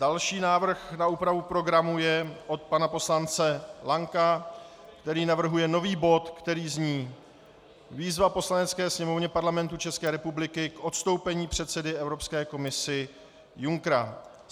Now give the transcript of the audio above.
Další návrh na úpravu programu je od pana poslance Lanka, který navrhuje nový bod, který zní: výzva Poslanecké sněmovny Parlamentu České republiky k odstoupení předsedy Evropské komise Junckera.